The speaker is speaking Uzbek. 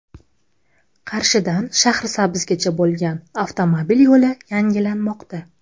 Qarshidan Shahrisabzgacha bo‘lgan avtomobil yo‘li yangilanmoqda.